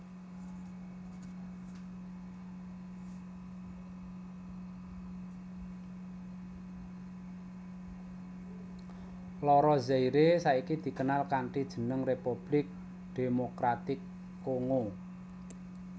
Loro Zaire saiki dikenal kanthi jeneng Republik Demokratik Kongo